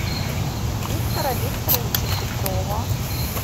виктора викторовича петрова